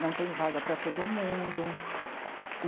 Não tem vaga para todo mundo.